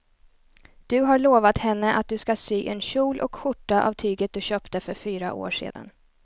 Du har lovat henne att du ska sy en kjol och skjorta av tyget du köpte för fyra år sedan.